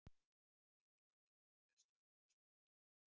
Lillý Valgerður: Er stjórnin sprungin?